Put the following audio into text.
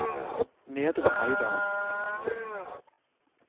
Nedre Heidal